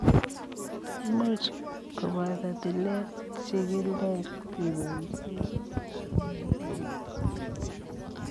Imuch kopotoo tileet ,chikileet kepaisiee maat anan ko peleet ,